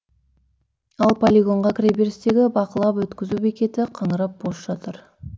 ал полигонға кіре берістегі бақылап өткізу бекеті қаңырап бос жатыр